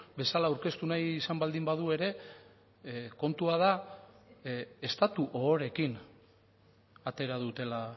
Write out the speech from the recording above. bezala aurkeztu nahi izan baldin badu ere kontua da estatu ohoreekin atera dutela